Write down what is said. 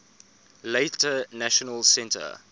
later national centre